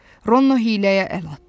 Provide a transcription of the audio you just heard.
Ronno hiyləyə əl atdı.